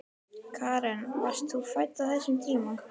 Karen: Varst þú fædd á þessum tíma?